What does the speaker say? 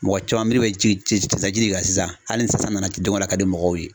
Mɔgɔ caman miri bɛ ci ci ci de kan sisan hali ni sisan na don ko don a ka di mɔgɔw ye.